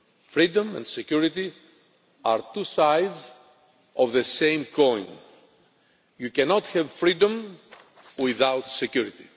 freedom and security are two sides of the same coin. You cannot have freedom without security.